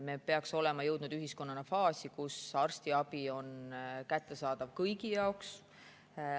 Me peaks olema jõudnud ühiskonnana faasi, kus arstiabi on kättesaadav kõigi jaoks.